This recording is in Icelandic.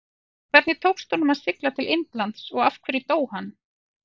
Hvernig tókst honum að sigla til Indlands og af hverju dó hann?